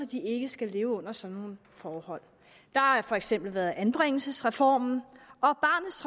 de ikke skal leve under sådan nogle forhold der har for eksempel været anbringelsesreformen